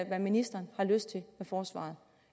hvad ministeren har lyst til med forsvaret